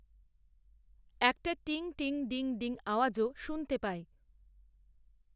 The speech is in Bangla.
একটা 'টিং টিং ডিং ডিং' আওয়াজও শুনতে পায়।